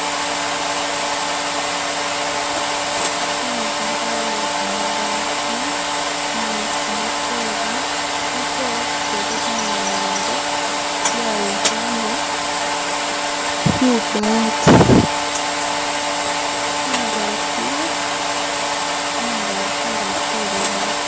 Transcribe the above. Intsu iliwo yekamabaati ni kamatore litore litwela linamilile lyayikhonya khubaati khungachi khungachi kwelibaati